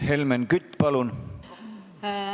Helmen Kütt, palun!